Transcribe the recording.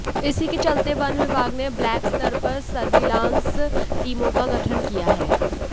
इसी के चलते वन विभाग ने ब्लाक स्तर पर सर्विलांस टीमों का गठन किया है